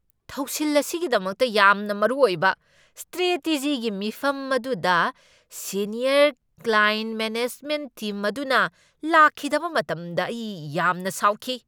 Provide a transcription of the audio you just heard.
ꯊꯧꯁꯤꯜ ꯑꯁꯤꯒꯤꯗꯃꯛꯇ ꯌꯥꯝꯅ ꯃꯔꯨ ꯑꯣꯏꯕ ꯁ꯭ꯇ꯭ꯔꯦꯇꯦꯖꯤꯒꯤ ꯃꯤꯐꯝ ꯑꯗꯨꯗ ꯁꯦꯅꯤꯌꯔ ꯀ꯭ꯂꯥꯑꯦꯟꯠ ꯃꯦꯅꯦꯖꯃꯦꯟꯠ ꯇꯤꯝ ꯑꯗꯨꯅ ꯂꯥꯛꯈꯤꯗꯕ ꯃꯇꯝꯗ ꯑꯩ ꯌꯥꯝꯅ ꯁꯥꯎꯈꯤ꯫